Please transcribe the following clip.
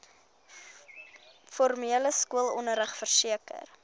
formele skoolonderrig verseker